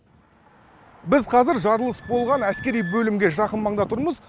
біз қазір жарылыс болған әскери бөлімге жақын маңда тұрмыз